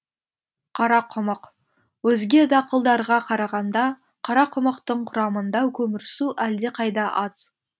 қарақұмық өзге дақылдарға қарағанда қарақұмықтың құрамында көмірсу әлдеқайда аз